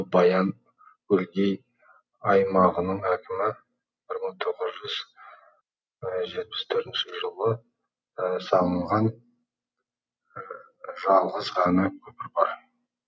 баян өлгей аймағының әкімі бір мың тоғыз жүз жетпіс төртінші жылы салынған жалғыз ғана көпір бар